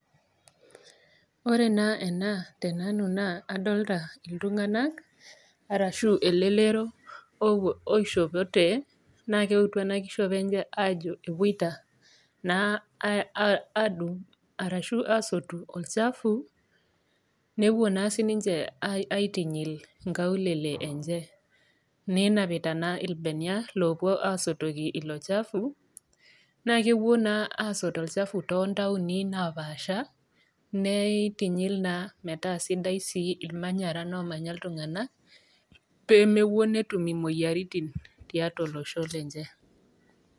Ore naa ena tenanu naa adolita iltung'ana ashu elelero oishopote naa keutu ena kishopo enye ajo ewoita naa adung ashu asotu olchafu newuo naa sininche aitinyil inkaulele enche. Nenapita naa ilbenia owuo asotoki ilo chafu. Naa kewuo naa asotu olchafu too ntaoni naapaasha neitinyil naa metaa sidai sii ilmanyara omanya iltung'ana pee mewuo netum imoyiaritin tiatua olosho lenche.